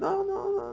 Não, não, não.